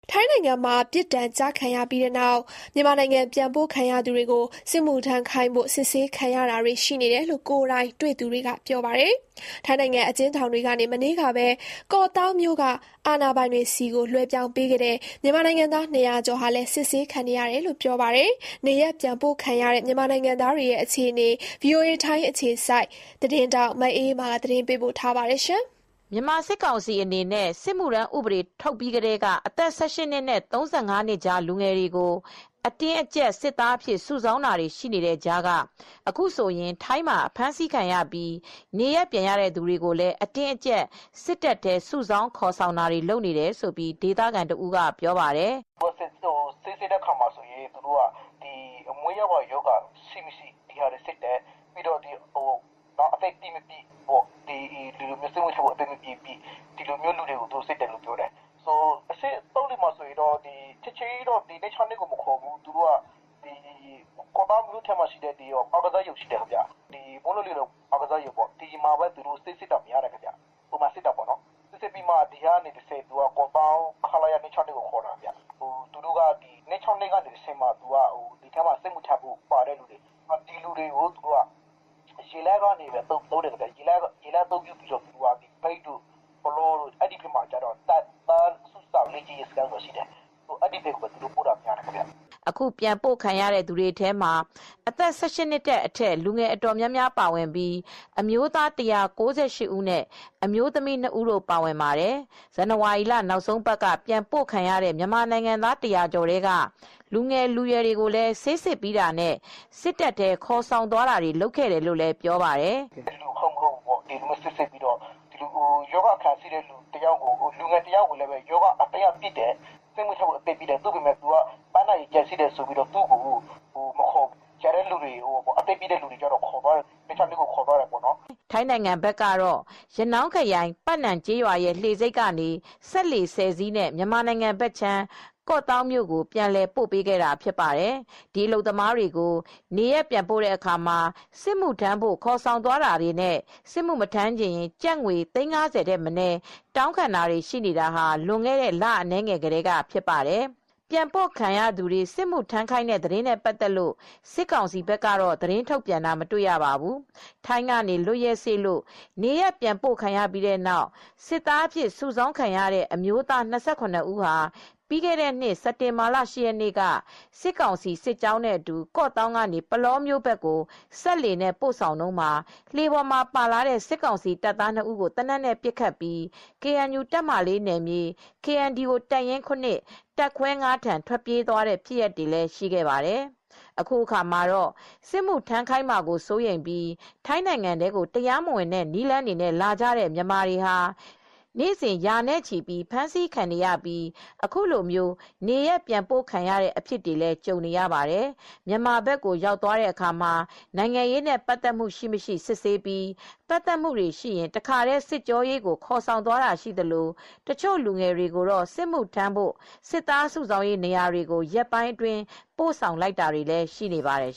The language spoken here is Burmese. ထိုင်းနိုင်ငံမှာပြစ်ဒဏ်ကျခံပြီးနောက် မြန်မာနိုင်ငံဘက်ပြန်ပို့ခံရသူတွေကို စစ်မှုထမ်းခိုင်းဖို့ စစ်ဆေးခံ နေရတယ်လို့ ကိုယ်တိုင်တွေ့သူတွေက ပြောပါတယ်။ ထိုင်းနိုင်ငံ အကျဉ်းထောင်တွေကနေ မနေ့ကပဲ ကော့သောင်းမြို့က အာဏာပိုင်တွေထံ လွှဲပြောင်းပေးခဲ့တဲ့ မြန်မာနိုင်ငံသား (၂၀၀) ကျော်ဟာလည်း စစ်ဆေးခံနေရတယ်လို့ ပြောပါတယ်။ နေရပ်ပြန်ပို့ခံရတဲ့ မြန်မာနိုင်ငံသားတွေ အခြေအနေ ဗွီအိုအေ ထိုင်းအခြေစိုက် မအေးအေးမာ သတင်းပေးပို့ထားပါတယ်။ မြန်မာစစ်ကောင်စီက စစ်မှုထမ်းဥပဒေထုတ်ပြီးချိန်ကစလို့ အသက် (၁၈) နှစ်နဲ့ (၃၅) နှစ်ကြား လူငယ်တွေကို အတင်းအကြပ်စစ်သားစုဆောင်းနေတဲ့ကြားက အခုဆိုရင် ထိုင်းမှာအဖမ်းခံရပြီး နေရပ်ပြန်ပို့ခံရသူတွေ ကိုလည်း အတင်းအကြပ် စစ်တပ်ထဲ စုဆောင်းခေါ်ဆောင်နေတယ်လို့ ဒေသခံတဦးကပြောပါတယ်။ “ဆေးစစ်တဲ့အခါမှာ မွေးရာပါရောဂါတွေ ရှိမရှိစစ်ဆေးတယ်။ ပြီးတော့ စစ်မှုထမ်းဖို့ အသက်ပြည့် မပြည့်ကိုစစ်တယ်။ ချက်ချင်းကြီးတော့ ခလရ (၂၆၂) ကိုမခေါ်သေးဘူး။ ကော့သောင်းက မိုးလုံလေလုံ အားကစားရုံမှာထားပြီး ဆေးစစ်တယ်။ ပြီးတော့မှ ကော့သောင်းကခလရ (၂၆၂) ကိုခေါ်သွားတယ်။ ပြီးတော့ သူတို့က (၂၆၂) ကနေတဆင့် စစ်မှုထမ်းဖို့ပါတဲ့သူတွေကို ရေလမ်းအသုံးပြုပြီး မြိတ်ဘက်က တပ်သားစုဆောင်းရေးနေရာတွေကို ပို့တာများပါတယ်။” အခုပြန်ပို့ခံရတဲ့ သူတွေထဲမှာအသက် (၁၈) အထက် လူငယ်အတော်များများပါဝင်ပြီး အမျိုးသား (၁၉၈) ဦးနဲ့ အမျိုးသမီးနှစ်ဦးတို့ပါဝင်ပါတယ် ။ ဇန်နဝါရီလ နောက်ဆုံးအပတ်က ပြန်ပို့ခံရတဲ့ မြန်မာနိုင်ငံသား (၁၀၀) ကျော်ထဲက လူငယ်လူရွယ်တွေကို ဆေးစစ်ပြီးတာနဲ့ စစ်တပ်ထဲခေါ်သွားခဲ့တယ်လို့လည်းပြောပါတယ်။” “ရောဂါအခံရှိတဲ့တယောက်ကိုတော့ စစ်မှုထမ်းဖို့အသက်ပြည့်ပေမယ့် ပန်းနာရင်ကြပ်ရှိလို့တော့ မခေါ်ဘူး။ ကျန်တဲ့လူငယ်တွေကိုတော့ ခလရ (၂၆၂) ကိုခေါ်သွားတယ်။” ထိုင်းနိုင်ငံဘက်က ရနောင်းခရိုင် ပတ်နမ်ကျေးရွာရဲ့လှေဆိပ်ကနေ စက်လှေ (၁၀) စီးနဲ့ မြန်မာဘက်ခြမ်း ကော့သောင်းမြို့ကို ပြန်လည်ပို့ပေးခဲ့ဖြစ်ပါတယ်။ ဒီအလုပ်သမားတွေကို နေရပ်ပြန်ပို့တဲ့အခါမှာ စစ်မှုထမ်းဖို့ခေါ်ဆောင်သွားတာတွေနဲ့ စစ်မှုမထမ်းချင်ရင် ကျပ်ငွေ သိန်း (၅၀) ထက်မနည်း တောင်းခံနေ တာဟာ လွန်ခဲ့တဲ့ လအနည်းငယ်ကတည်းကဖြစ်ပါတယ်။ ပြန်ပို့ခံရသူတွေကိုစစ်မှုထမ်းခိုင်းတဲ့ သတင်းတွေနဲ့ ပတ်သက်လို့ စစ်ကောင်စီက သတင်းထုတ်ပြန်တာတော့ မတွေ့ရပါဘူး။ ပြီးခဲ့တဲ့နှစ် စစ်တင်ဘာလ (၈) ရက်နေ့က ထိုင်းကနေ လွတ်ရက်စေ့လို့ နေရပ်ပြန်ပို့ခံရပြီး စစ်သားစု ဆောင်းခံရတဲ့ အမျိုးသား (၂၇) ဦးဟာ စစ်ကောင်စီစစ်ကြောင်းနဲ့အတူ ကော့သောင်းကနေ ပုလောမြို့နယ် ဘက်ကို စက်လှေနဲ့ပို့ဆောင်တုန်းမှာ လှေပေါ်မှာပါလာတဲ့ စစ်ကောင်စီတပ်သားနှစ်ဦးကို သေနတ်နဲ့ပစ်ခတ်ပြီး KNU တပ်မဟာ (၄) နယ်မြေ၊ KNDO တပ်ရင်း (၇) တပ်ခွဲ (၅)ထံ ထွက်ပြေးသွားတဲ့ဖြစ်ရပ်တွေလည်းရှိခဲ့ပါတယ်။ အခုအခါမှာတော့ စစ်မှုထမ်းခိုင်းမှာကိုစိုးရိမ်ပြီး ထိုင်းနိုင်ငံထဲကိုတရားမဝင်တဲ့နည်းလမ်းတွေနဲ့ လာကြတဲ့ မြန်မာတွေဟာ နေ့စဉ်ရာနဲ့ချီပြီးဖမ်းဆီးခံနေရပြီး အခုလို နေရပ်ပြန်ပို့ခံရတဲ့အဖြစ်တွေကိုလည်း ကြုံနေရ ပါတယ်။ မြန်မာဘက်ကိုရောက်သွားတဲ့အခါမှာ နိုင်ငံရေးနဲ့ပတ်သက်မှု ရှိမရှိစစ်ဆေးပြီး ပတ်သက်မှု တွေရှိရင် တခါတည်း စစ်ကြောရေးကိုခေါ်ဆောင်သွားတာရှိသလို တချို့လူငယ်တွေကိုတော့ စစ်မှုထမ်းဖို့ စစ်သားစုဆောင်းရေးနေရာတွေကို ရက်ပိုင်းအတွင်း ပို့ဆောင်လိုက်တာတွေလည်း ရှိနေပါတယ်